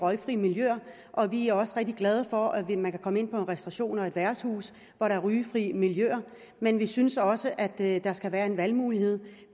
røgfri miljøer vi er også rigtig glade for at man kan komme ind på en restauration og et værtshus hvor der er røgfrit miljø men vi synes også at der skal være en valgmulighed